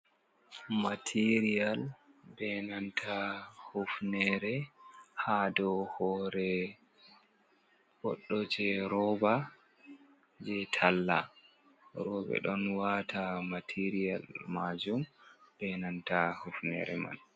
Mateeriyal bee nanta hufnere ha dow hore goɗɗo jeroba je talla. Roɓe ɗon wata maateriyal majum be nanta hufnere man.